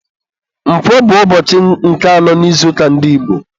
Nkwọ bụ ụbọchị nke anọ n'izuụka ndị Igbo.